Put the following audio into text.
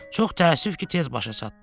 Çox təəssüf ki, tez başa çatdı.